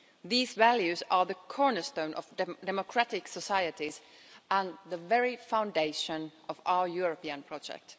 These values are the cornerstone of democratic societies and the very foundation of our European project.